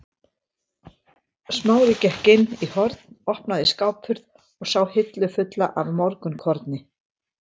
Smári gekk inn í horn, opnaði skáphurð og sá hillu fulla af morgunkorni.